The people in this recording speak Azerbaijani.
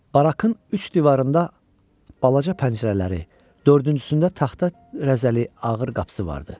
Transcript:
Barakın üç divarında balaca pəncərələri, dördüncüsündə taxta rəzəli ağır qapısı vardı.